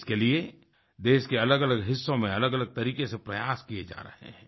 इसके लिए देश के अलगअलग हिस्सों में अलगअलग तरीके से प्रयास किये जा रहे हैं